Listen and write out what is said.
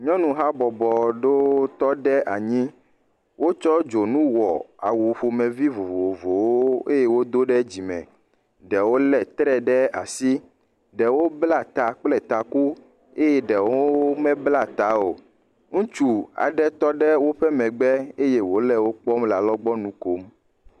Nyɔnu habɔbɔ ɖewo tɔ ɖe anyi. Wotsɔ dzonu wɔ awu ƒomevi vovovowo eye wodo ɖe dzime. Ɖewo lé tre ɖe asi. Ɖewo bla ta taku kple eye ɖewo meblaa ta o. Ŋutsu aɖe tɔ ɖe woƒe megbe eye wòle wo kpɔm le alɔgbɔnu kom.